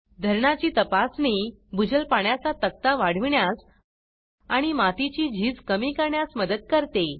धरनाची तपासणी भुजल पाण्याचा तक्ता वाढविण्यास आणि मातीची झीज कमी करण्यास मदत करते